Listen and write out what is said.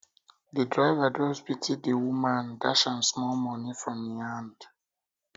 di um driver just pity di um woman dash am small moni from im hand